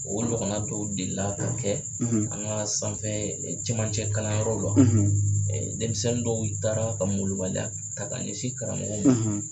O ɲɔgɔngna dɔw deli la ka kɛ an ka sanfɛ cɛmancɛ kalanyɔrɔw la denmisɛnni dɔw taara ka malobaliya ta ka ɲɛsin karamɔgɔ ma.